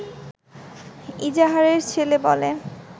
ইজাহারের ছেলে বলে